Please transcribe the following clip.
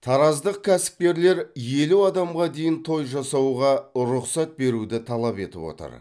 тараздық кәсіпкерлер елу адамға дейін той жасауға рұқсат беруді талап етіп отыр